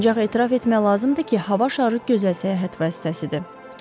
Ancaq etiraf etmək lazımdır ki, hava şarı gözəl səyahət vasitəsidir.